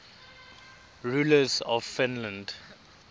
rulers of finland